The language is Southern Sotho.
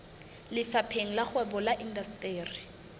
lefapheng la kgwebo le indasteri